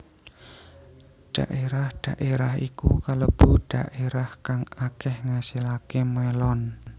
Dhaérah dhaérah iku kalebu dhaérah kang akéh ngasilaké mélon